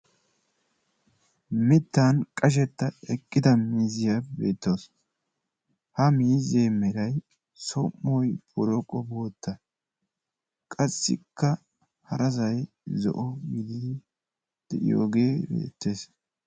Mittan qashetta eqqida miizziya beettawusu. Ha miizze meray som"oy boroqo bootta. Qassikka harasay zo"o gididi de"iyooge beettes.